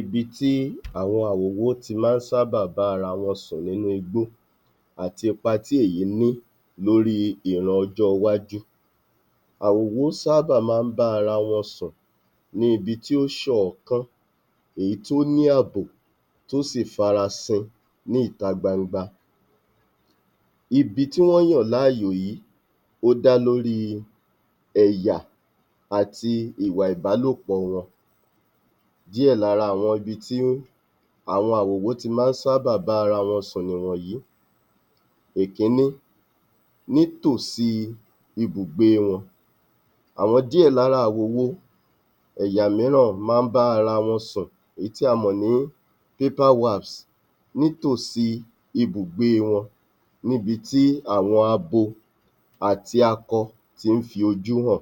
Ibi tí àwọn awòwo ti máa ń sábà bá ara wọn sùn nínú igbó àti ipa tí èyí ní lóri ìran ọjọ́ iwájú. Àwòwó sábà máa ń bá ara wọn sùn ní ibi tí ó ṣ’ọ̀ọ́kán, èyí tó ní ààbò tó sì tún farasin ní ìta gbangba. Ibi tí wọ́n yàn láàyò yìí ó dá lórí ẹ̀yà àti ìwà ìbálọ̀pọ̀ wọn. Díẹ̀ lára ibi tí àwọn àwòwó ti ḿa ń sábà bá ara wọn sùn nìwọ̀nyí. Ìkíní, nítòsí ìbùgbe wọn, àwọn díẹ̀ lára àwòwo ẹ̀yà mìíràn máa ń bá ara wọn sùn èyí tí a mọ̀ ní paper wax nítòsí ibùgbe wọn níbi tí àwọn abo àti akọ ti ń fojú hàn.